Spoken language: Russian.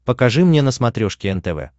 покажи мне на смотрешке нтв